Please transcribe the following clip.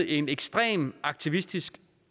en ekstremt aktivistisk